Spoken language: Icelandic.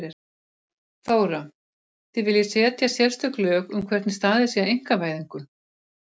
Þóra: Þið viljið setja sérstök lög um hvernig staðið sé að einkavæðingu?